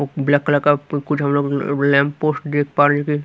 black colour का कुछ हम लोग लैंप पोस्ट देख पा रहे हैं कि--